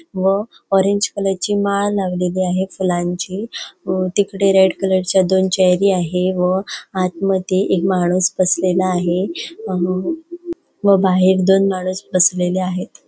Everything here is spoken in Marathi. व ऑरेंज कलर ची माळ लावलेली आहे फुलांची व तिकडे रेड कलर च्या दोन चेअरी हि आहे व आतमध्ये एक माणूस बसलेला आहे अ व बाहेर दोन माणूस बसलेले आहेत.